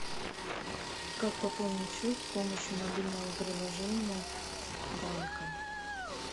как пополнить счет с помощью мобильного приложения банка